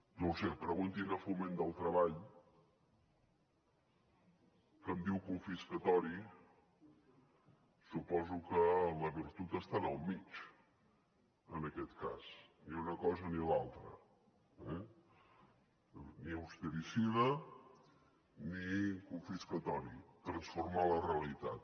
no ho sé preguntin a foment del treball que em diu confiscatori suposo que la virtut està en el mig en aquest cas ni una cosa ni l’altra ni austericida ni confiscatori transformar la realitat